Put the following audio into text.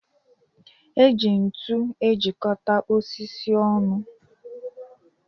E ji ntu ejikọta osisi ọnụ.